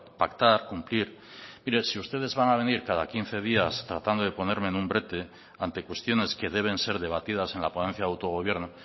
pactar cumplir mire si ustedes van a venir cada quince días tratando de ponerme en un brete ante cuestiones que deben ser debatidas en la ponencia de autogobierno